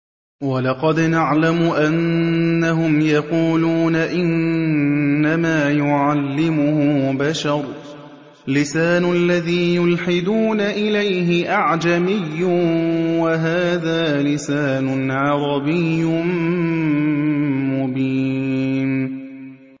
وَلَقَدْ نَعْلَمُ أَنَّهُمْ يَقُولُونَ إِنَّمَا يُعَلِّمُهُ بَشَرٌ ۗ لِّسَانُ الَّذِي يُلْحِدُونَ إِلَيْهِ أَعْجَمِيٌّ وَهَٰذَا لِسَانٌ عَرَبِيٌّ مُّبِينٌ